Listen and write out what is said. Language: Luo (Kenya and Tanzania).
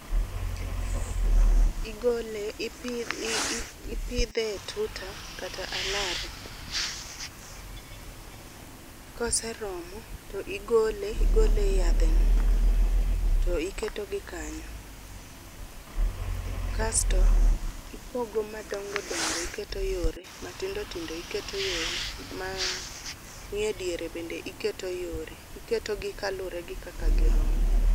Igole ipidh i ipidhe e tuta kata alaro. Koseromo tigole igole e yadhe no tiketo gi kanyo kasto ipogo madongodongo iketo yore, matindo tindo iketo yore, ma nie diere iketo yore . Iketo gi kaluwore gi kaka girom .